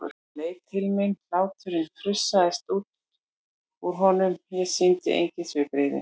Hann leit til mín, hláturinn frussaðist út úr honum, ég sýndi engin svipbrigði.